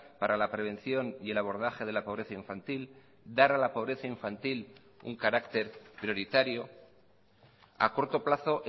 para la prevención y el abordaje de la pobreza infantil dar a la pobreza infantil un carácter prioritario a corto plazo